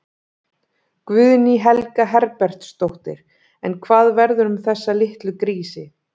Guðný Helga Herbertsdóttir: En hvað verður um þessa litlu grísi?